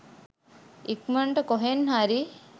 ඉක්මනට කොහෙන් හරි